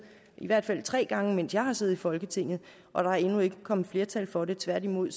i hvert fald tre gange mens jeg har siddet i folketinget og der er endnu ikke kommet et flertal for det tværtimod